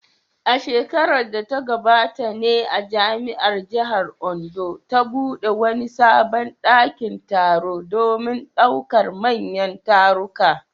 A shekarar da ta gabata ne jami’ar jihar Ondo ta bude wani sabon dakin taro domin daukar manyan taruka.